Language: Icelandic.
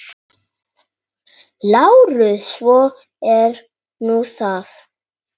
LÁRUS: Svo er nú það.